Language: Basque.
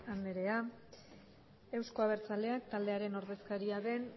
anderea euzko abertzaleak taldearen ordezkaria den